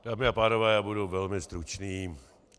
Dámy a pánové, já budu velmi stručný.